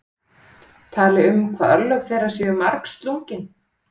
Tali um hvað örlög þeirra séu margslungin.